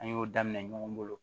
An y'o daminɛ ɲɔgɔn bolo